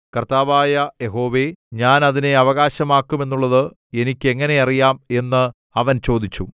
കർത്താവായ യഹോവേ ഞാൻ അതിനെ അവകാശമാക്കുമെന്നുള്ളത് എനിക്ക് എങ്ങനെ അറിയാം എന്നു അവൻ ചോദിച്ചു